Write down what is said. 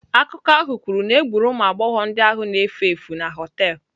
Akụkọ ahụ kwuru na egburu ụmụ agbọghọ ndị ahụ na-efu efu na họtel.